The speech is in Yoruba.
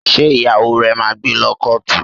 Ṣé ìyàwó rẹ̀ máa gbé lọ kọ́ọ̀tù?